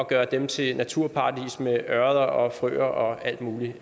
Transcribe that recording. gøre dem til naturparadiser med ørreder og frøer og alt muligt